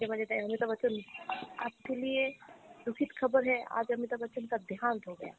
হতে পারে তাই অমিতাভ বচ্চন Hindi